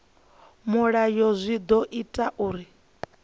mulayo zwi ḓo ita uri